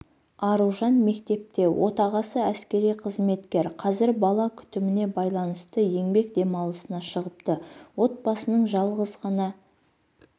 аружан мектепте отағасы әскери қызметкер қазір бала күтіміне байланысты еңбек демалысына шығыпты отбасының жалғыз ғана